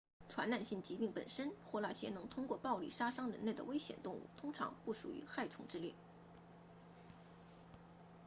传染性疾病本身或那些能通过暴力杀伤人类的危险动物通常不属于害虫之列